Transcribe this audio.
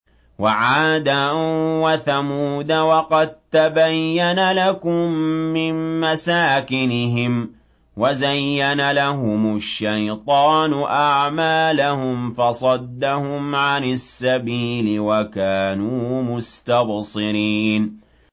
وَعَادًا وَثَمُودَ وَقَد تَّبَيَّنَ لَكُم مِّن مَّسَاكِنِهِمْ ۖ وَزَيَّنَ لَهُمُ الشَّيْطَانُ أَعْمَالَهُمْ فَصَدَّهُمْ عَنِ السَّبِيلِ وَكَانُوا مُسْتَبْصِرِينَ